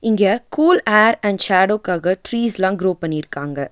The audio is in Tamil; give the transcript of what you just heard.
இங்க கூல் ஏர் அண்ட் ஷேடோக்காக ட்ரீஸ்லா க்ரோ பண்ணிருக்காங்க.